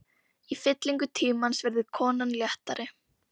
Í fyllingu tímans verður konan léttari.